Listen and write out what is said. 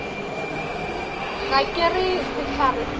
ga ke re sehlare se